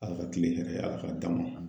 ALA ka kile hɛrɛ ALA ka d'anw ma.